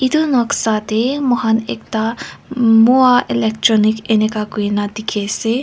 etu noksa moi khan ekta moa electronic enika koina dekhi ase.